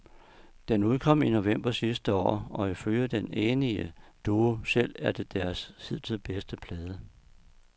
Den udkom i november sidste år, og ifølge den enige duo selv er det deres hidtil bedste plade.